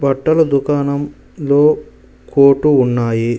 బట్టల దుకాణం లో కోటు ఉన్నాయి.